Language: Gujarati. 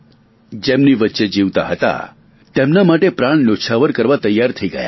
જેમની વચ્ચે જીવતા હતા તેમના માટે પ્રાણ ન્યોછાવર કરવા તૈયાર થઈ ગયા